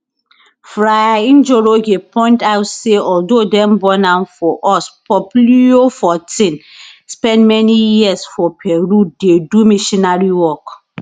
fr njoroge point out say although dem born am for us pope leo xiv spend many years for peru dey do missionary work